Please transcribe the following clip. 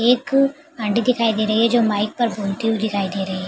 एक आंटी दिखाई दे रही है जो माइक पर बोलती हुई दिखाई दे रही है।